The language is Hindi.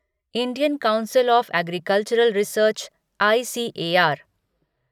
Indian council of agricultural research ICAR